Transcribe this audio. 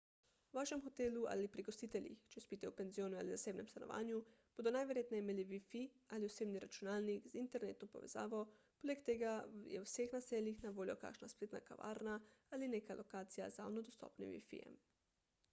v vašem hotelu ali pri gostiteljih če spite v penzionu ali zasebnem stanovanju bodo najverjetneje imeli wifi ali osebni računalnik z internetno povezavo poleg tega je v vseh naseljih na voljo kakšna spletna kavarna ali neka lokacija z javno dostopnim wifi-jem